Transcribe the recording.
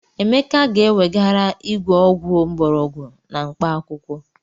Emeka ga-ewegara igwe ọgwụ mgbọrọgwụ na mkpaakwụkwọ.